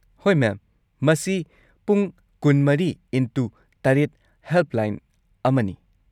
ꯍꯣꯏ, ꯃꯦꯝ, ꯃꯁꯤ ꯄꯨꯡ ꯲꯴X꯷ ꯍꯦꯜꯞꯂꯥꯏꯟ ꯑꯃꯅꯤ ꯫